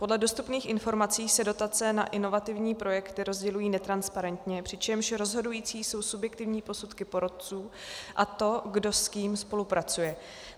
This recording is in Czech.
Podle dostupných informací se dotace na inovativní projekty rozdělují netransparentně, přičemž rozhodující jsou subjektivní posudky porotců a to, kdo s kým spolupracuje.